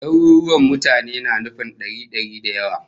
Daruruwan mutane na nufin dari dari da yawa